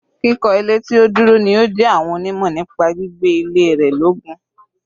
Kíkọ́ ilé tí ó dúró ni ó jẹ àwọn onímọ̀ nípa gbígbé ilé ró lógún.